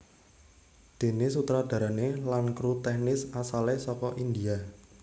Déné sutradarané lan kru tèknis asalé saka India